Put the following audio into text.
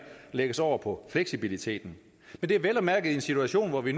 lægges over på fleksibiliteten og det er vel og mærke i en situation hvor vi